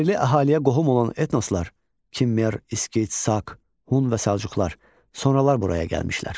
Yerli əhaliyə qohum olan etnoslar, Kimmer, İskit, Saq, Hun və Səlcuqlar sonralar buraya gəlmişlər.